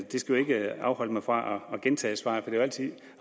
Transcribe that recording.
det skal ikke afholde mig fra at gentage svaret for det er jo altid